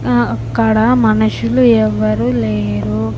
ఆ అక్కడ మనుషులు ఎవరూ లేరు.